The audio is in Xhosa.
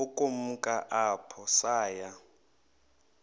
ukumka apho saya